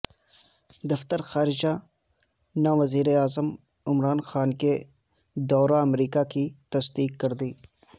دفتر خارجہ نے وزیراعظم عمران خان کے دورہ امریکا کی تصدیق کر دی